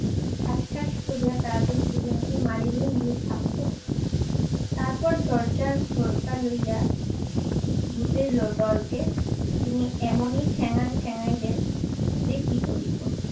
ঠাসঠাস করিয়া তা দিয়ে দুজনকে মারিলেন দুই থাপ্পড়। তারপর দরজার হরকা লইয়া ভূতের লো~ দলকে তিনি এমনই ঠ্যাং ঠ্যাঙাইলেন যে কি বলিব।